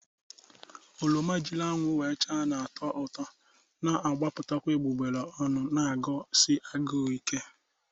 Oroma jiri anwụ na-acha, nekta na-atọ ụtọ na-agbapụta egbugbere ọnụ na-agụsi agụụ ike.